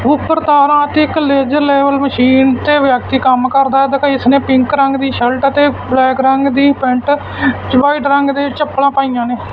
ਉੱਪਰ ਤਾਰਾਂ ਅਤੇ ਇੱਕ ਲੇਜ਼ਰ ਲੈਵਲ ਮਸ਼ੀਨ ਤੇ ਵਿਅਕਤੀ ਕੰਮ ਕਰਦਾ ਦਿਖਾਈ ਇਸਨੇ ਪਿੰਕ ਰੰਗ ਦੀ ਸ਼ਰਟ ਅਤੇ ਬਲੈਕ ਰੰਗ ਦੀ ਪੈਂਟ ਚ ਵਾਈਟ ਰੰਗ ਦੇ ਚੱਪਲਾਂ ਪਾਈਆਂ ਨੇ।